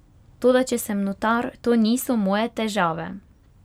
Toda če sem notar, to niso moje težave.